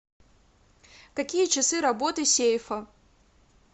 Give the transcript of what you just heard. какие часы работы сейфа